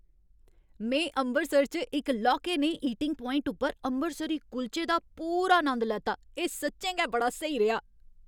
में अमृतसर च इक लौह्के नेहे ईटिंग पोआइंट उप्पर अमृतसरी कुल्चे दा पूरा नंद लैता। एह् सच्चें गै बड़ा स्हेई रेहा।